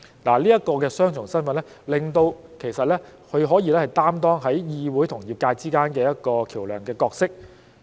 這一個雙重身份，其實令她可以在議會與業界之間擔當一個橋樑的角色。